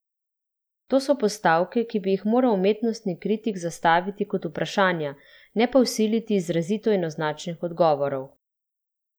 To so postavke, ki bi jih moral umetnostni kritik zastaviti kot vprašanja, ne pa vsiliti izrazito enoznačnih odgovorov.